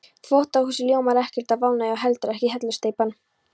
Þvottahúsið ljómar ekkert af ánægju og heldur ekki hellusteypan.